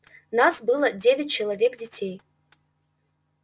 нас было девять человек детей